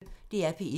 DR P1